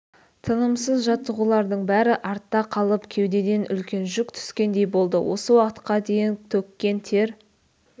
тынымсыз жаттығулардың бәрі артта қалып кеудеден үлкен жүк түскендей болды осы уақытқа дейін төккен тер